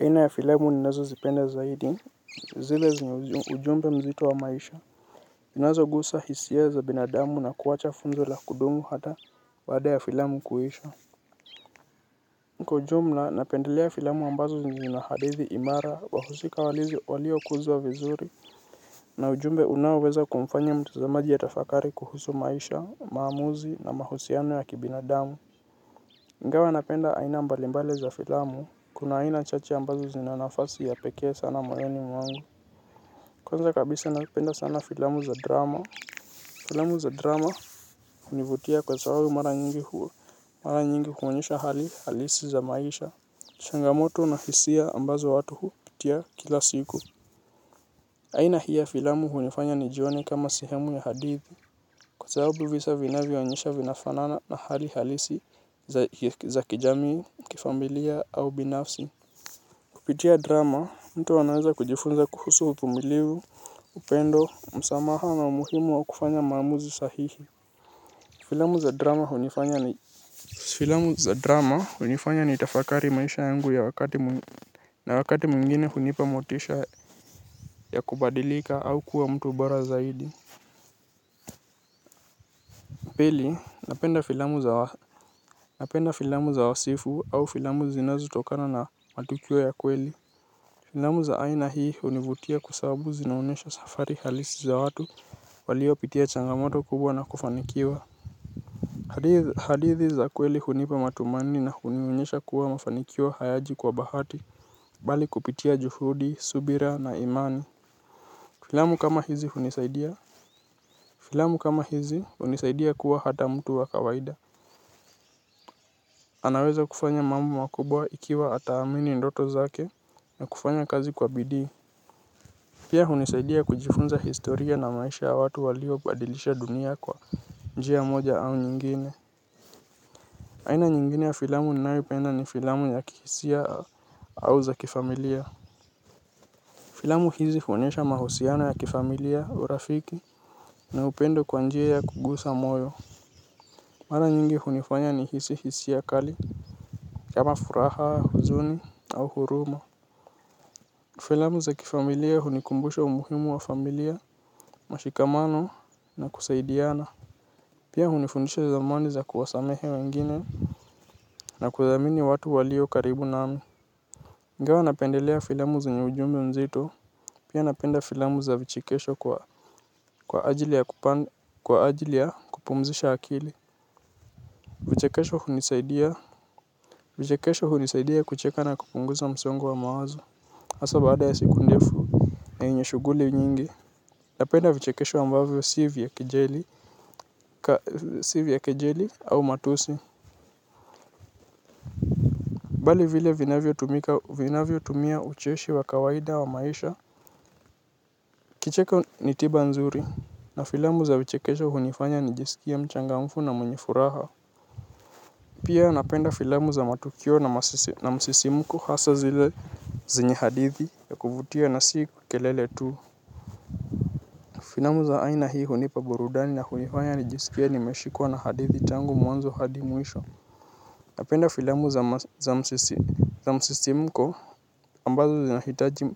Aina ya filamu ninazo zipenda zaidi zile zenye ujumbe mzito wa maisha. Zinazo gusa hisia za binadamu na kuwacha funzo la kudumu hata baada ya filamu kuisha. Kwa ujumla napendelea filamu ambazo zenye zina hadithi imara wa husika walio kuzwa vizuri na ujumbe unaweza kumfanya mtazamaji atafakari kuhusu maisha maamuzi na mahusiano ya kibinadamu. Ingawa napenda aina mbali mbali za filamu kuma aina chache ambazo zina nafasi ya pekee moyoni mwangu. Kwanza kabisa napenda sana filamu za drama. Filamu za drama hunivutia kwa sababu mara nyingi huwa mara nyingi huonyesha hali halisi za maisha. Changamoto na hisia ambazo watu hupitia kila siku. Aina hii ya filamu hunifanya nijione kama sehemu ya hadithi. Kwa sababu visa vinavyo onyesha vinafanana na hali halisi za za kijamii kifamilia au binafsi. Ukijua drama filamu za drama hunifanya nitafakari maisha yangu ya wakati mwingine hunipa motisha ya kubadilika au kuwa mtu bora zaidi. Penda filamu za. Napenda filamu za wasifu au filamu zinazo tokana na matukio ya kweli. Filamu za aina hii hunivutia kwa sababu zinaonyesha safari halisi za watu walio pitia changamoto kubwa na kufanikiwa. Hadithi za kweli hunipa matumani na hunionyesha kuwa mafanikio hayaji kwa bahati bali kupitia juhudi, subira na imani. Filamu kama hizi hunisaidia. Filamu kama hizi hunisaidia kuwa hata mtu wa kawaida anayeweza kufanya mambo makubwa ikiwa ataamini ndoto zake na kufanya kazi kwa bidii pia hunisaidia kujifunza historia na maisha ya watu waliobadilisha dunia kwa njia moja au jingine aina nyingine ya filamu ninayopenda ni filamu ya kihisia au za kifamilia. Filamu hizi huonyesha mahusiano ya kifamilia urafiki na upendo kwa njia ya kugusa moyo. Mara nyingi hunifanya ni hisi hisia kali kama furaha, huzuni au huruma. Filamu za kifamilia hunikumbusha umuhimu wa familia, mashikamano na kusaidiana. Pia hunifundisha zamandi za kuwasamehe wengine na kuwaamini watu walio karibu nami ingawa napendelea filamu zenye ujumbe nzito, pia napenda filamu za vichekesho kwa ajili ya kupumzisha akili vichekesho hunisaidia kucheka na kupunguza msongo wa mawazo. Hasa baada ya siku ndefu enye shughuli nyingi. Napenda vichekesho ambavyo si vya kejeli ya kijeli au matusi. Bali vile vinavyo tumia ucheshi wa kawaida wa maisha. Kucheka ni tiba nzuri na filamu za vichekesho hunifanya nijiskie mchangamfu na mwenye furaha. Pia napenda filamu za matukio na msisimko hasa zile zenye hadithi ya kuvutia na si kelele tu. Filamu za aina hii hunipa burudani na hunifanya nijiskie nimeshikwa na hadithi tangu mwanzo hadi mwisho. Napenda filamu za msisimko ambazo zinahitaji